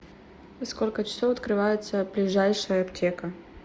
во сколько часов открывается ближайшая аптека